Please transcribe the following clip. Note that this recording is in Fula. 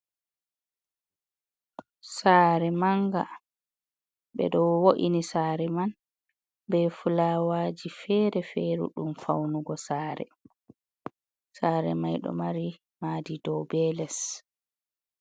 Saare mannga, ɓe ɗo wo’ini saare man be fulaawaaji feere-feere ɗum fawnugo saare. Saare may ɗo mari maadi dow be les.